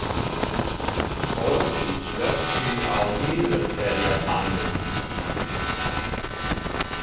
Holti, slökktu á niðurteljaranum.